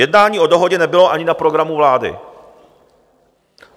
Jednání o dohodě nebylo ani na programu vlády.